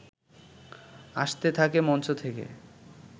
আসতে থাকে মঞ্চ থেকে